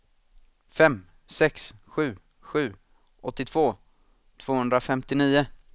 fem sex sju sju åttiotvå tvåhundrafemtionio